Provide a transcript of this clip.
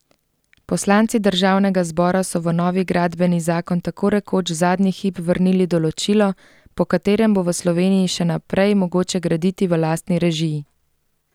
Poslanci državnega zbora so v novi gradbeni zakon tako rekoč zadnji hip vrnili določilo, po katerem bo v Sloveniji še naprej mogoče graditi v lastni režiji.